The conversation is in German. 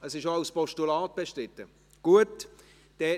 Es ist auch als Postulat bestritten.